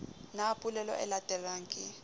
na polelo e latelang ke